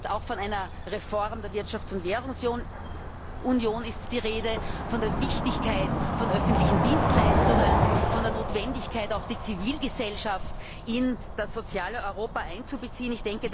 Auch von einer Reform der Wirtschafts und Währungsunion ist die Rede, von der Wichtigkeit öffentlicher Dienstleistungen, von der Notwendigkeit, auch die Zivilgesellschaft in das soziale Europa einzubeziehen.